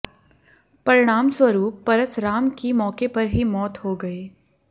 परिणामस्वरूप परस राम की मौके पर ही मौत हो गई